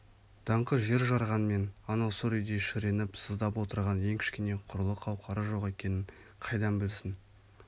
даңқы жер жарғанмен анау сұр үйде шіреніп сыздап отырған ең кішкене құрлы қауқары жоқ екенін қайдан білсін